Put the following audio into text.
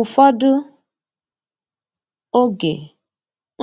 Ụfọdụ oge